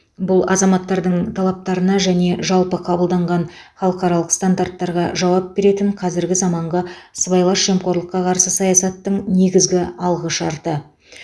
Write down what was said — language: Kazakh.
бұл азаматтардың талаптарына және жалпы қабылданған халықаралық стандарттарға жауап беретін қазіргі заманғы сыбайлас жемқорлыққа қарсы саясаттың негізгі алғышарты